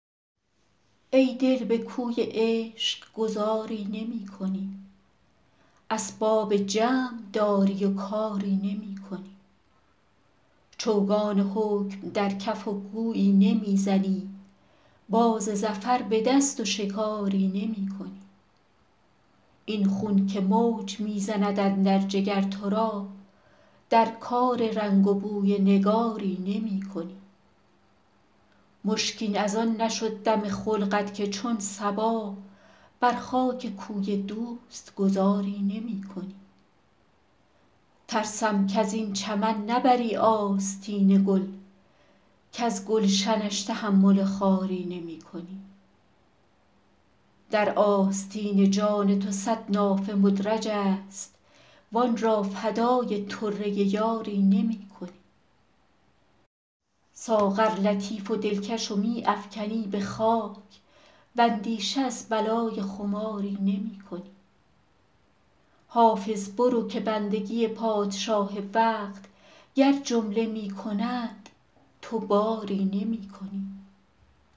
ای دل به کوی عشق گذاری نمی کنی اسباب جمع داری و کاری نمی کنی چوگان حکم در کف و گویی نمی زنی باز ظفر به دست و شکاری نمی کنی این خون که موج می زند اندر جگر تو را در کار رنگ و بوی نگاری نمی کنی مشکین از آن نشد دم خلقت که چون صبا بر خاک کوی دوست گذاری نمی کنی ترسم کز این چمن نبری آستین گل کز گلشنش تحمل خاری نمی کنی در آستین جان تو صد نافه مدرج است وآن را فدای طره یاری نمی کنی ساغر لطیف و دلکش و می افکنی به خاک واندیشه از بلای خماری نمی کنی حافظ برو که بندگی پادشاه وقت گر جمله می کنند تو باری نمی کنی